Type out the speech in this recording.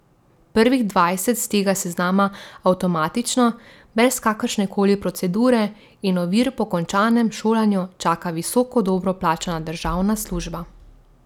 Prvih dvajset s tega seznama avtomatično, brez kakršne koli procedure in ovir po končanem šolanju čaka visoka dobro plačana državna služba.